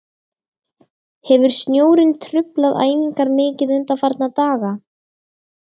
Hefur snjórinn truflað æfingar mikið undanfarna daga?